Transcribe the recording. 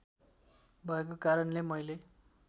भएको कारणले मैले